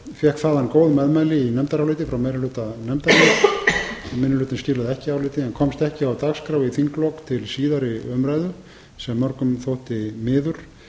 fékk þaðan góð meðmæli í nefndaráliti frá meiri hluta nefndarinnar minni hlutinn skilaði ekki áliti málið komst ekki á dagskrá í þinglok til síðari umræðu sem mörgum þótti miður